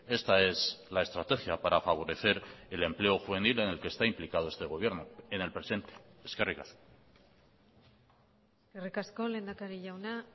esta es la estrategia para favorecer el empleo juvenil en el que está implicado este gobierno en el presente eskerrik asko eskerrik asko lehendakari jauna